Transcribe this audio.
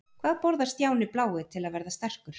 Hvað borðar Stjáni blái til að verða sterkur?